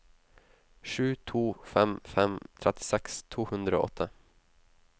sju to fem fem trettiseks to hundre og åtte